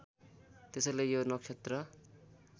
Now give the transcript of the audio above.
त्यसैले यो नक्षत्र